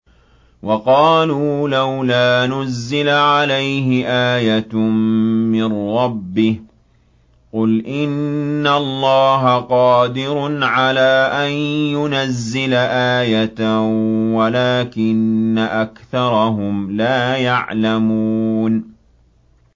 وَقَالُوا لَوْلَا نُزِّلَ عَلَيْهِ آيَةٌ مِّن رَّبِّهِ ۚ قُلْ إِنَّ اللَّهَ قَادِرٌ عَلَىٰ أَن يُنَزِّلَ آيَةً وَلَٰكِنَّ أَكْثَرَهُمْ لَا يَعْلَمُونَ